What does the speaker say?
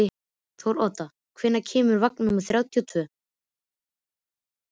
Þórodda, hvenær kemur vagn númer þrjátíu og tvö?